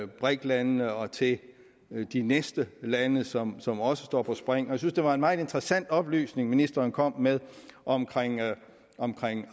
briks landene og til de næste lande som som også står på spring jeg synes det var en meget interessant oplysning ministeren kom med om om